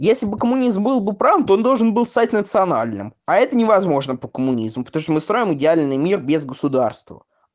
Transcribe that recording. если бы коммунизм был бы правда он должен был стать национальным а это невозможно по коммунизму потому что мы строим идеальный мир без государства